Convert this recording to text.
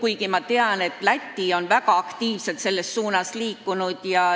Tean küll, et Läti on väga aktiivselt selles suunas liikunud.